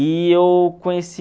E eu conheci...